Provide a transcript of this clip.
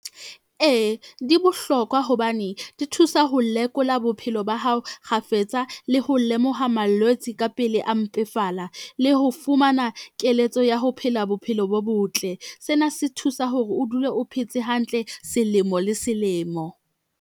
Ee, di bohlokwa hobane di thusa ho lekola bophelo ba hao kgafetsa le ho lemoha malwetse ka pele a mpefala, le ho fumana keletso ya ho phela bophelo bo botle. Sena se thusa hore o dule o phetse hantle selemo le selemo.